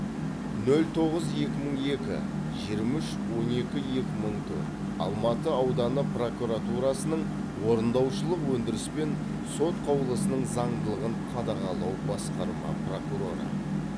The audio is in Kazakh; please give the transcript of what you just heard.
нөл тоғыз екі мың екі жиырма үш он екі екі мың төрт алматы ауданы прокуратурасының орындаушылық өндіріс пен сот қаулысының заңдылығын қадағалау басқарма прокуроры